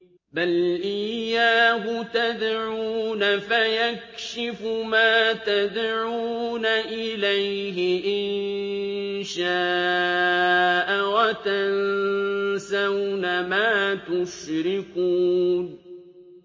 بَلْ إِيَّاهُ تَدْعُونَ فَيَكْشِفُ مَا تَدْعُونَ إِلَيْهِ إِن شَاءَ وَتَنسَوْنَ مَا تُشْرِكُونَ